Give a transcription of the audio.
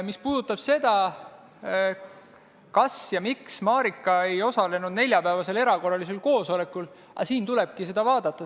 Mis puudutab seda, kas ja miks Marika ei osalenud neljapäevasel erakorralisel koosolekul – siin tulebki seda vaadata.